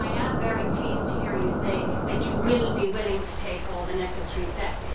I am very pleased to hear you say that you will be willing to take all the necessary steps.